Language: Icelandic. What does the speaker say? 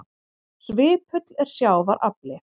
Svipull er sjávar afli.